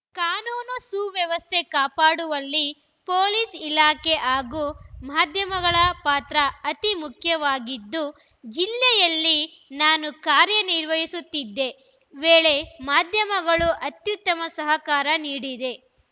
ಕಾನೂನು ಸುವ್ಯವಸ್ಥೆ ಕಾಪಾಡುವಲ್ಲಿ ಪೊಲೀಸ್‌ ಇಲಾಖೆ ಹಾಗೂ ಮಾಧ್ಯಮಗಳ ಪಾತ್ರ ಅತಿ ಮುಖ್ಯವಾಗಿದ್ದು ಜಿಲ್ಲೆಯಲ್ಲಿ ನಾನು ಕಾರ್ಯ ನಿರ್ವಹಿಸುತ್ತಿದ್ದ ವೇಳೆ ಮಾಧ್ಯಮಗಳು ಅತ್ಯುತ್ತಮ ಸಹಕಾರ ನೀಡಿವೆ